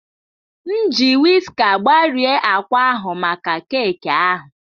M ji wiska gbarie akwa ahụ maka keeki ahụ.